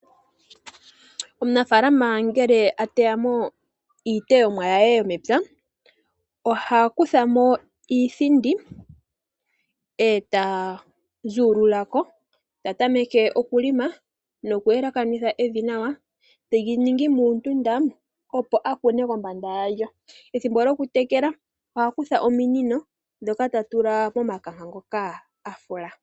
Omunafaalana ngele ateyamo iiteyomwa yaye yomepya, oha kuthamo iithindi e taa zululako, tatameke okulima, noku yelekanitha evi nawa telyi ningi muundunda opo akune kombanda yalyo. Ethimbo lyoku tekela oha kutha ominino dhono ta tula momakanka ngoka afula.